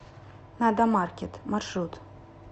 надомаркет маршрут